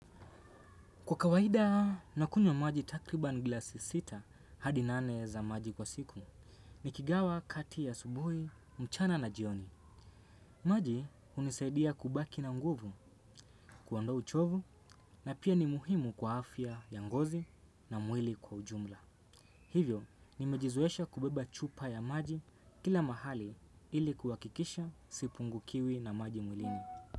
Kwa kawaida, nakunywa maji takriban glasi sita hadi nane za maji kwa siku, nikigawa kati asubuhi, mchana na jioni. Maji hunisaidia kubaki na nguvu, kuondoa uchovu na pia ni muhimu kwa afya ngozi na mwili kwa ujumla. Hivyo, nimejizoesha kubeba chupa ya maji kila mahali ili kuakikisha sipungukiwi na maji mwilini.